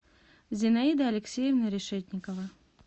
зинаида алексеевна решетникова